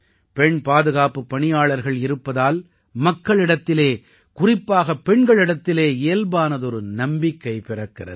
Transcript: பெண் பாதுகாப்புப் பணியாளர்கள் இருப்பதால் மக்களிடத்தில் குறிப்பாகப் பெண்களிடத்தில் இயல்பானதொரு நம்பிக்கை பிறக்கிறது